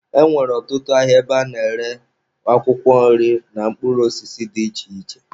E nwere ọtụtụ ahịa ebe a na-ere akwụkwọ nri na mkpụrụ osisi dị iche iche.